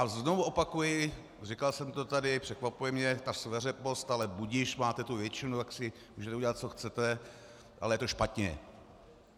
A znovu opakuji, říkal jsem to tady, překvapuje mě ta sveřepost, ale budiž, máte tu většinu, tak si můžete dělat, co chcete, ale je to špatně.